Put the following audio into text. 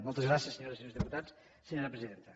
moltes gràcies senyores i senyors diputats senyora presidenta